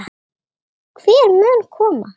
Hver mun koma?